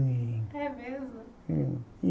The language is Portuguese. É É mesmo? É